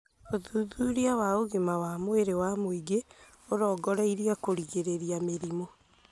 ũthuthuria wa ũgima wa mwĩrĩ wa mũingĩ ũrongoreirie kũrigĩrĩria mĩrimũ